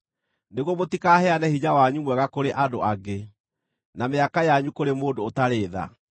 nĩguo mũtikaheane hinya wanyu mwega kũrĩ andũ angĩ, na mĩaka yanyu kũrĩ mũndũ ũtarĩ tha,